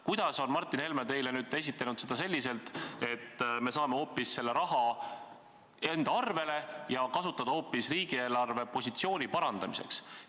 Kuidas on Martin Helme teile nüüd esitanud selle kava niimoodi, et me saame selle raha enda arvele ja kasutada seda hoopis riigi eelarvepositsiooni parandamiseks?